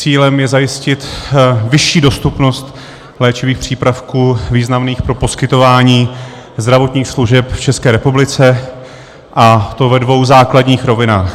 Cílem je zajistit vyšší dostupnost léčivých přípravků významných pro poskytování zdravotních služeb v České republice, a to ve dvou základních rovinách.